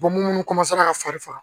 Bɔ munnu ka faris